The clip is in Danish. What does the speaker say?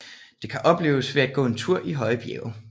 Det kan opleves ved at gå tur i høje bjerge